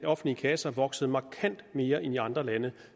offentlige kasser voksede markant mere end i andre lande